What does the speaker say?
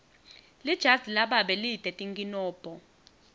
lijazi lababe lite tinkinombo